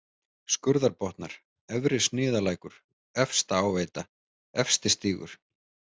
Skurðarbotnar, Efri-Sniðalækur, Efstaáveita, Efstistígur